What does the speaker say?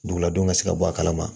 Duguladenw ka se ka bɔ a kalama